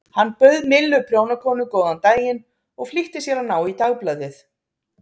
Hann bauð Millu prjónakonu góðan daginn og flýtti sér að ná í dagblaðið.